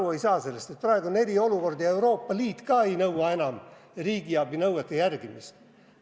Kas te ei saa aru, et praegu on erakorraline olukord ja Euroopa Liit ei nõua enam riigiabi nõuete järgimist?